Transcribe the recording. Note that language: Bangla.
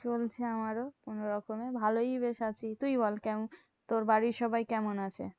চলছে আমারও কোনোরকমে ভালোই বেশ আছি। তুই বল, কেমন? তোর বাড়ির সবাই কেমন আছে?